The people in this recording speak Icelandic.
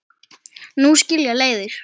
Nú skilja leiðir.